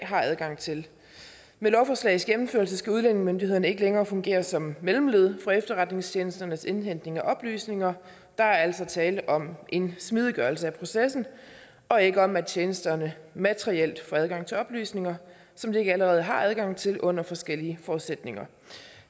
har adgang til med lovforslagets gennemførelse skal udlændingemyndighederne ikke længere fungere som mellemled for efterretningstjenesternes indhentning af oplysninger der er altså tale om en smidiggørelse af processen og ikke om at tjenesterne materielt får adgang til oplysninger som de ikke allerede har adgang til under forskellige forudsætninger